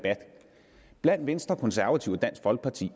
blandt venstre konservative og dansk folkeparti